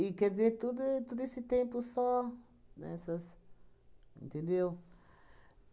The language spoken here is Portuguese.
E, quer dizer, todo todo esse tempo só nessas, entendeu?